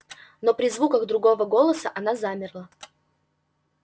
но при звуках другого голоса она замерла